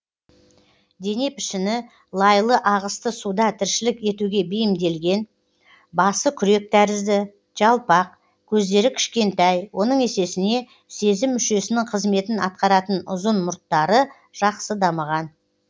дене пішіні лайлы ағысты суда тіршілік етуге бейімделген басы күрек тәрізді жалпақ көздері кішкентай оның есесіне сезім мүшесінің қызметін атқаратын ұзын мұрттары жақсы дамыған